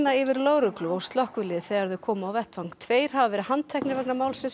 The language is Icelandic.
yfir lögreglu og slökkvilið þegar þau komu á vettvang tveir hafa verið handteknir vegna málsins